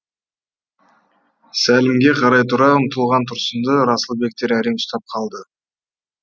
сәлімге қарай тұра ұмтылған тұрсынды расылбектер әрең ұстап қалды